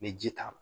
Ni ji t'a la